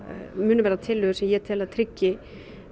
munu verða tillögur sem ég tel að tryggi